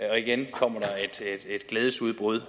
og igen kommer der et glædesudbrud